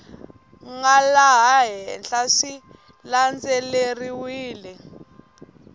nga laha henhla swi landzeleriwile